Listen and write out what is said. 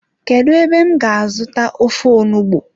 Kedu ebe m ga azuta ofe onugbu?